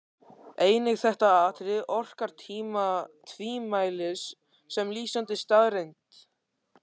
Einnig þetta atriði orkar tvímælis sem lýsandi staðreynd.